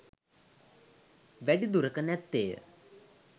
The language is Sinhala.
වැඩි දුරක නැත්තේ ය.